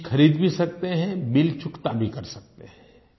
चीज़ खरीद भी सकते हैं बिल चुकता भी कर सकते हैं